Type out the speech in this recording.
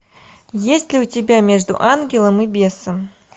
есть ли у тебя между ангелом и бесом